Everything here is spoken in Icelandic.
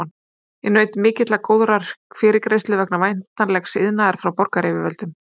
Ég naut mikillar og góðrar fyrirgreiðslu vegna væntanlegs iðnaðar frá borgaryfirvöldum.